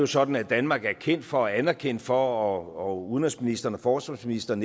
sådan at danmark er kendt for og anerkendt for og udenrigsministeren og forsvarsministeren